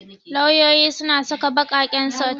Lauyoyi suna saka ɓaƙaƙen sut.